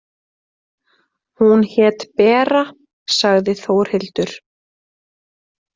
Hún hét Bera, sagði Þórhildur.